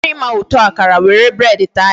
Ị chọrọ ịma ụtọ akara, were bread taa ya.